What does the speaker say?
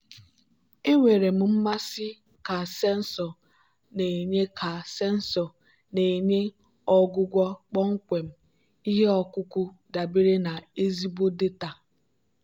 enwere m mmasị ka sensọ na-enye ka sensọ na-enye ọgwụgwọ kpọmkwem ihe ọkụkụ dabere na ezigbo data.